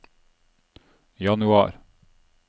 januar